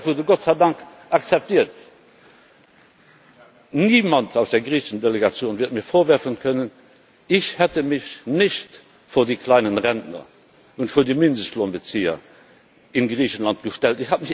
Dieser Vorschlag wurde Gott sei Dank akzeptiert. Niemand aus der griechischen Delegation wird mir vorwerfen können, ich hätte mich nicht vor die kleinen Rentner und vor die Mindestlohnbezieher in Griechenland gestellt.